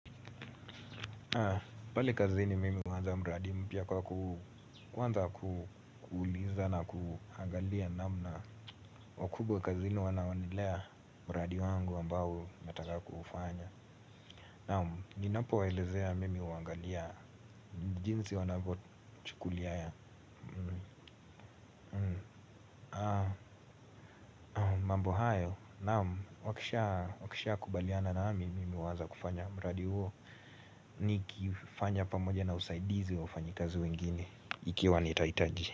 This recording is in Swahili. Pale kazini mimi huanza mradi mpya kwa ku kwanza kuuliza na kuangalia namna na wakubwa kazini wanaonelea mradi wangu ambao nataka kuufanya. Naam, ninapowaelezea mimi huangalia jinsi wanavyochukulia ya mambo hayo, naam, wakisha kubaliana nami mimi huanza kufanya mradi huo. Nikifanya pamoja na usaidizi wa wafanyi kazi wengine, ikiwa nitahitaji.